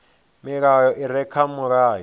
milayo i re kha mulayo